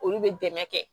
Olu bɛ dɛmɛ kɛ